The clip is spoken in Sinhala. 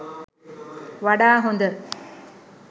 වඩා හොඳ.